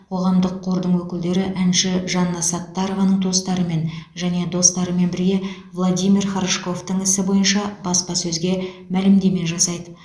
қоғамдық қордың өкілдері әнші жанна саттарованың туыстарымен және достарымен бірге владимир хорошковтың ісі бойынша баспасөзге мәлімдеме жасайды